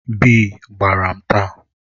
Bii gbara m taa.